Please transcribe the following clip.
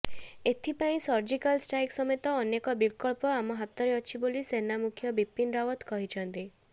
ଏଥିପାଇଁ surgical strike ସମେତ ଅନେକ ବିକଳ୍ପ ଆମ ହାତରେ ଅଛି ବୋଲି ସେନାମୁଖ୍ୟ ବିପିନ ରାଓ୍ବତ କହିଛନ୍ତି